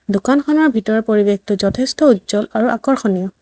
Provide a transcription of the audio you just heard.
দোকানখনৰ ভিতৰৰ পৰিৱেশটো যথেষ্ট উজ্জ্বল আৰু আকৰ্ষণীয়।